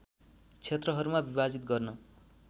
क्षेत्रहरूमा विभाजित गर्न